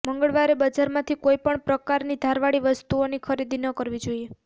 મંગળવારે બજારમાંથી કોઈ પણ પ્રકારની ધાર વાળી વસ્તુઓની ખરીદી ન કરવી જોઈએ